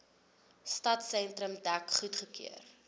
stadsentrum dek goedgekeur